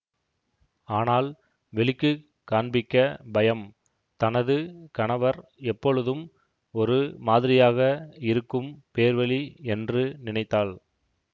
ஆனால் வெளிக்கு காண்பிக்கப் பயம் தனது கணவர் எப்பொழுதும் ஒரு மாதிரியாக இருக்கும் பேர்வழி என்று நினைத்தாள்